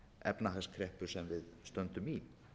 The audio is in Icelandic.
efnahagskreppu sem við stöndum í